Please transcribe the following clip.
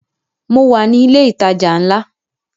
Mo wà ní ilẹ̀ ìtajà ńlá